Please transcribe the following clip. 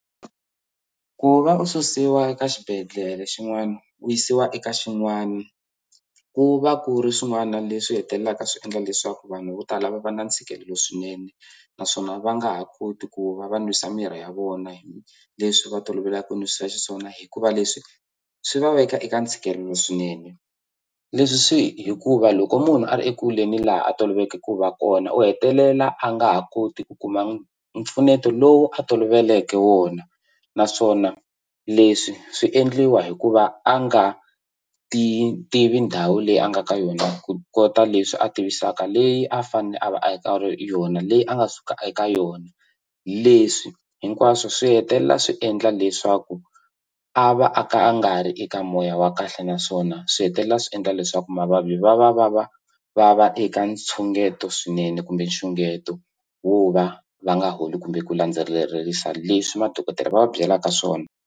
Ku va u susiwa eka xibedhlele xin'wana u yisiwa eka xin'wani ku va ku ri swin'wana leswi hetelelaka swi endla leswaku vanhu vo tala va va na ntshikelelo swinene naswona va nga ha koti ku va va nwisa mirhi ya vona hi leswi va tolovelaku nwisa xiswona hikuva leswi swi va veka eka ntshikelelo swinene leswi swi hikuva loko munhu a ri ekule ni laha a toloveleke ku va kona u hetelela a nga ha koti ku kuma mpfuneto lowu a toloveleke wona naswona leswi swi endliwa hikuva a nga ti tivi ndhawu leyi a nga ka yona ku kota leswi a tivisaka leyi a fanele a va a yi ka ri yona leyi a nga suka eka yona leswi hinkwaswo swi hetelela swi endla leswaku a va a ka a nga ri eka moya wa kahle naswona swi hetelela swi endla leswaku mavabyi va va va va va va eka ntshungeto swinene kumbe nxungeto wo va va nga holi kumbe ku landzelerisa leswi madokodela va va byelaka swona.